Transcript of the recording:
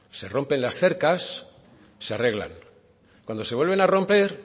se rompen las cercas se arreglan cuando se vuelven a romper